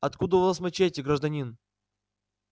откуда у вас мачете гражданин